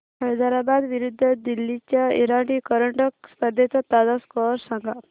हैदराबाद विरुद्ध दिल्ली च्या इराणी करंडक स्पर्धेचा ताजा स्कोअर सांगा